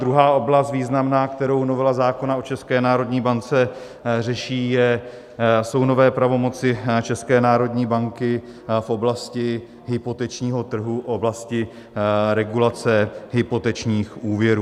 Druhá oblast, významná, kterou novela zákona o České národní bance řeší, jsou nové pravomoci České národní banky v oblasti hypotečního trhu, v oblasti regulace hypotečních úvěrů.